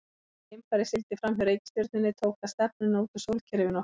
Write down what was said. Eftir að geimfarið sigldi fram hjá reikistjörnunni tók það stefnuna út úr sólkerfinu okkar.